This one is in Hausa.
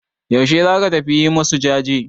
Yaushe za ka tafi yi masu jaje?